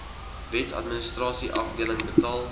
wetsadministrasie afdeling betaal